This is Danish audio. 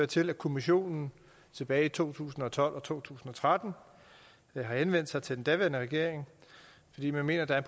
til at kommissionen tilbage i to tusind og tolv og to tusind og tretten har henvendt sig til den daværende regering fordi man mener at der